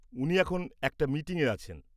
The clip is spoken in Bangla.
উনি এখন একটা মীটিঙে আছেন।